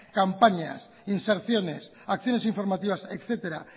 campaña inserciones acciones informativas etcétera